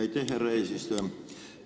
Aitäh, härra eesistuja!